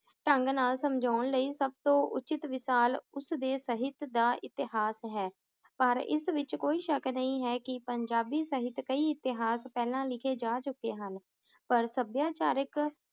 ਢੰਗ ਨਾਲ ਸਮਝਾਉਣ ਲਈ ਸਬਤੋਂ ਉਚਿਤ ਉਸ ਦੇ ਸਹਿਤ ਦਾ ਇਤਿਹਾਸ ਹੈ ਪਰ ਇਸ ਵਿਚ ਕੋਈ ਸ਼ੱਕ ਨਹੀਂ ਹੈ ਕਿ ਪੰਜਾਬੀ ਸਹਿਤ ਕਈ ਇਤਿਹਾਸ ਪਹਿਲਾਂ ਲਿਖੇ ਜਾ ਚੁਕੇ ਹਨ ਪਰ ਸਭਿਆਚਾਰਕ